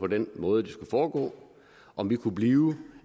den måde det skulle foregå på om vi kunne blive